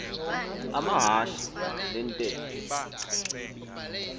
amahashe le ntetho